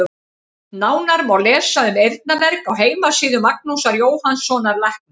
Nánar má lesa um eyrnamerg á heimasíðu Magnúsar Jóhannssonar læknis.